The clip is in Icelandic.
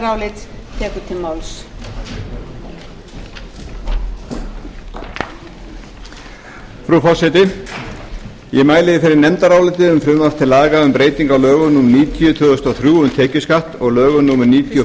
fyrir nefndaráliti frá meiri hluta efnahags og viðskiptanefndar um frumvarp til laga um breyting á lögum númer níutíu tvö þúsund og þrjú um tekjuskatt og lögum númer níutíu og